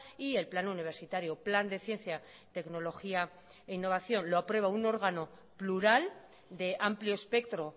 y el plan universitario plan de ciencia tecnología e innovación lo aprueba un órgano plural de amplio espectro